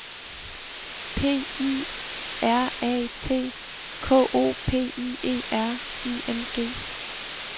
P I R A T K O P I E R I N G